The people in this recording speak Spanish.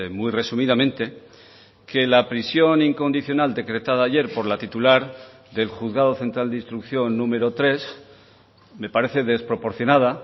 muy resumidamente que la prisión incondicional decretada ayer por la titular del juzgado central de instrucción número tres me parece desproporcionada